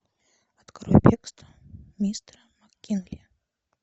открой бегство мистера мак кинли